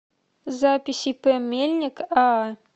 запись ип мельник аа